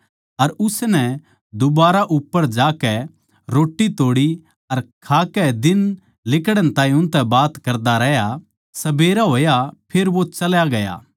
अर उसनै दुबारा उप्पर जाकै रोट्टी तोड़ी अर खाकै दिन लिकड़ण ताहीं उनतै बात करदा रहया सबेरा होग्या फेर वो चल्या गया